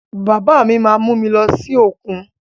Bàbá mí má mú mi lọ sí òkun.